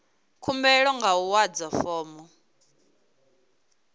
khumbelo nga u adza fomo